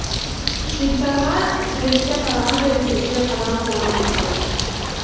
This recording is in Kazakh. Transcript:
швейцарға суретке қарағандай тесіле қадалып ойланып қалды